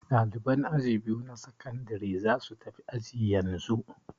Ɗaliban aji biyu na sakandare za su tafi aji yanzu